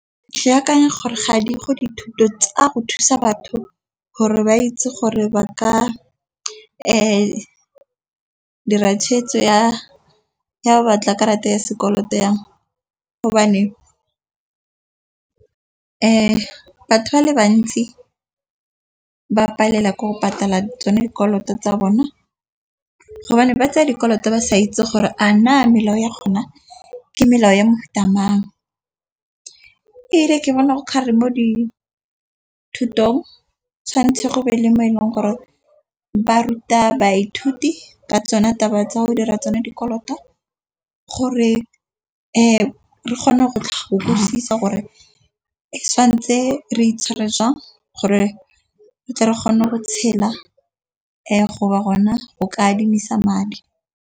Ke akanya gore ga di go dithuto tsa go thusa batho gore ba itse gore ba ka dira tshwetso ya ya batla karata ya sekoloto yang . Batho ba le bantsi ba palelwa ke go patala tsone dikoloto tsa bona. Ba tsaya dikoloto ba sa itse gore a na melao ya kgona ke melao ya mofuta mang. Ke bona go gare mo dithutong tshwanetse go be le mo e leng gore ba ruta baithuti ka tsona taba tsa go dira tsone dikoloto, gore re kgone go tshela gore e santse re itshware jang gore ke tle re kgone go tshela go ba rona go ka adimisa madi.